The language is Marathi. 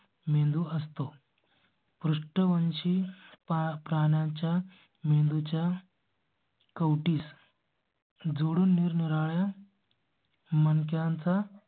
मेनू असतो. पृष्ठवंशी प्राण्यांच्या मेंदू च्या. कवटीस. जोडून निरनिराळ्या. मणक्यांचा?